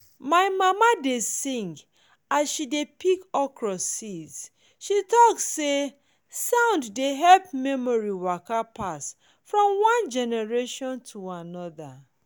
my mama dey sing as she dey pick okra seeds she talk say sound dey help memory waka pass from one generation to another.